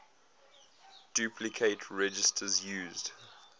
duplicate registers used